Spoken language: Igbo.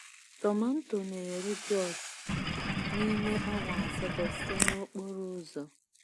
Tomanto na-eru Jos n’ime awa asatọ site n’okporo ụzọ.